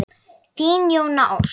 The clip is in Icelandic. Þín Jóna Ósk.